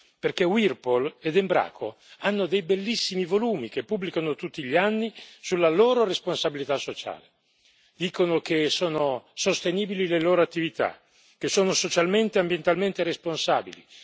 Perché Whirlpool ed Embraco hanno dei bellissimi volumi, che pubblicano tutti gli anni, sulla loro responsabilità sociale, dicono che sono sostenibili le loro attività, che sono socialmente e ambientalmente responsabili.